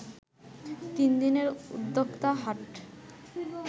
তিনদিনের উদ্যোক্তা হাট